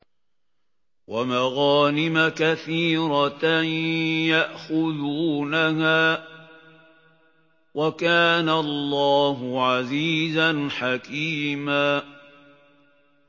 وَمَغَانِمَ كَثِيرَةً يَأْخُذُونَهَا ۗ وَكَانَ اللَّهُ عَزِيزًا حَكِيمًا